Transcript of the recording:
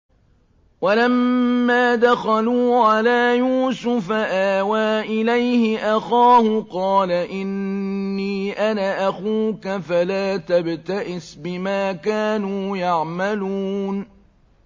وَلَمَّا دَخَلُوا عَلَىٰ يُوسُفَ آوَىٰ إِلَيْهِ أَخَاهُ ۖ قَالَ إِنِّي أَنَا أَخُوكَ فَلَا تَبْتَئِسْ بِمَا كَانُوا يَعْمَلُونَ